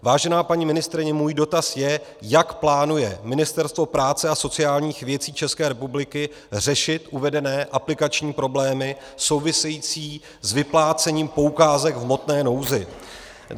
Vážená paní ministryně, můj dotaz je, jak plánuje Ministerstvo práce a sociálních věcí České republiky řešit uvedené aplikační problémy související s vyplácením poukázek v hmotné nouzi.